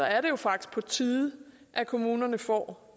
er det jo faktisk på tide at kommunerne får